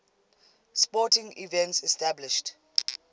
sporting events established